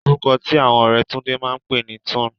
Orúkọ tí àwọn ọ̀rẹ́ Túndé máa pè ní Túnẹ̀.